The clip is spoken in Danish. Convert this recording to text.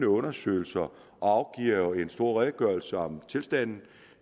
undersøgelser og afgiver en stor redegørelse om tilstanden